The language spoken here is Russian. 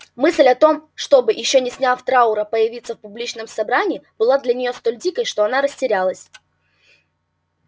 мысль о том чтобы ещё не сняв траура появиться в публичном собрании была для нее столь дикой что она растерялась